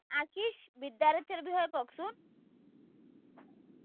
আচিচ বিদ্যাৰ্থিৰ বিষয়ে কওকচোন।